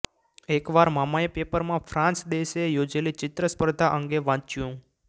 એક વાર મામાએ પેપરમાં ફ્રાન્સ દેશે યોજેલી ચિત્રસ્પર્ધા અંગે વાંચ્યું